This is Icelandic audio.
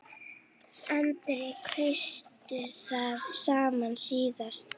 Andri: Kaustu það sama síðast?